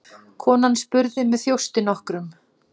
Konan spurði með þjósti nokkrum